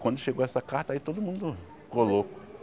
Quando chegou essa carta aí todo mundo ficou louco.